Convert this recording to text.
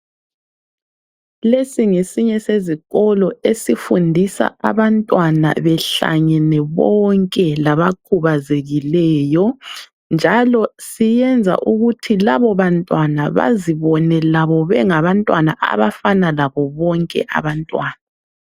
Lesi ngesinye sezikolo esifundisa abantwana behlangene bonke labakhubazekileyo. Njalo siyenza ukuthi labo bantwana bazibone labo bengabantwana abafana labo bonke abantwana.